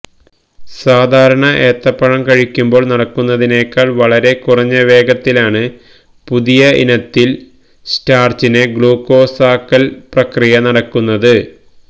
സാധാരണ ഏത്തപ്പഴം കഴിയ്ക്കുമ്പോള് നടക്കുന്നതിനേക്കാള് വളരെ കുറഞ്ഞ വേഗത്തിലാണ് പുതിയ ഇനത്തില് സ്റ്റാര്ച്ചിനെ ഗ്ലൂക്കോസാക്കല് പ്രക്രിയ നടക്കുന്നത്